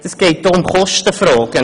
Es geht auch um Kostenfragen.